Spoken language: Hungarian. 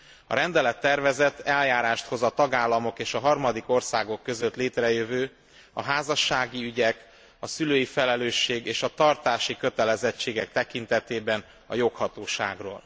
A rendelettervezet eljárást hoz a tagállamok és a harmadik országok között létrejövő, a házassági ügyek, a szülői felelősség és a tartási kötelezettségek tekintetében a joghatóságról.